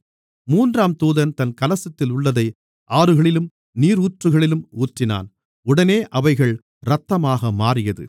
மூன்றாம் தூதன் தன் கலசத்திலுள்ளதை ஆறுகளிலும் நீரூற்றுகளிலும் ஊற்றினான் உடனே அவைகள் இரத்தமாக மாறியது